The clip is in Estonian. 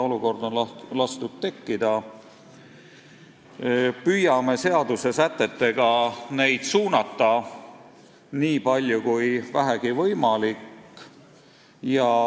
Me püüame seaduse sätetega neid suunata, nii palju kui vähegi võimalik.